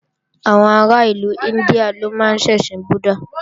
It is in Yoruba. Àwọn ará ìlú India ló máa ń ṣẹ̀sìn búddàh